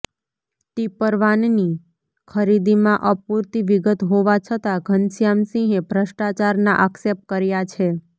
ટીપરવાનની ખરીદીમાં અપુરતી વિગત હોવા છતાં ઘનશ્યામસિંહે ભ્રષ્ટાચારના આક્ષેપ કર્યા છે